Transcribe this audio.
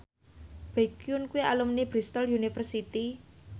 Baekhyun kuwi alumni Bristol university